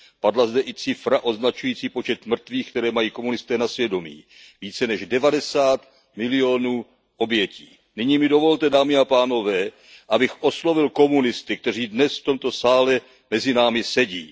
Padla zde i cifra označující počet mrtvých, které mají komunisté na svědomí více než 90 milionů obětí. Nyní mi dovolte, dámy a pánové, abych oslovil komunisty, kteří dnes v tomto sále mezi námi sedí.